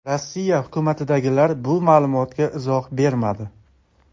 Rossiya hukumatidagilar bu ma’lumotga izoh bermadi.